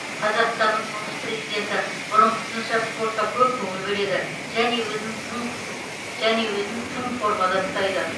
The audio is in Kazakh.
қазақстанның тұңғыш президенті бұрынғысынша спортқа көп көңіл бөледі және өзін тың және өзін тың формада ұстайды